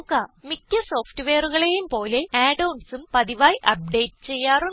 മിക്ക്യ സോഫ്റ്റ്വെയറുകളെയും പോലെ add onsഉം പതിവായി അപ്ഡേറ്റ് ചെയ്യാറുണ്ട്